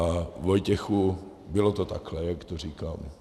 A Vojtěchu, bylo to takhle, jak to říkám.